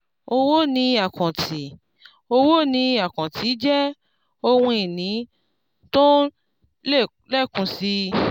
owó ni àkáǹtì owó ni àkáǹtì jẹ́ ohun ìní tó ń lékún si.